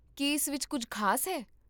ਕੀ ਇਸ ਵਿੱਚ ਕੁੱਝ ਖ਼ਾਸ ਹੈ?